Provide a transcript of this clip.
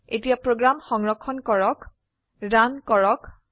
এতিয়া প্ৰোগ্ৰাম সংৰক্ষণ কৰক ৰান কৰক